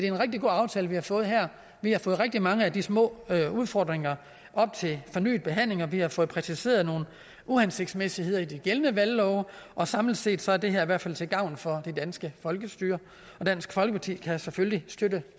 en rigtig god aftale vi har fået her vi har fået rigtig mange af de små udfordringer op til fornyet behandling og vi har fået præciseret nogle uhensigtsmæssigheder i den gældende valglov og samlet set er det her i hvert fald til gavn for det danske folkestyre dansk folkeparti kan selvfølgelig støtte